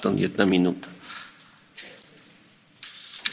Mr President, I represent the fishing nation of Scotland.